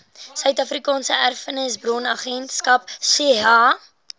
suidafrikaanse erfenishulpbronagentskap saeha